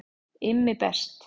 IMMI BEST